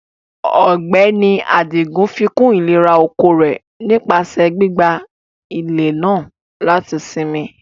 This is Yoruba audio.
Ọgbẹni Adigun fíkún ilẹ̀rà-oko rẹ̀ nípasẹ gbígbà ilẹ̀ náà lati sínmí.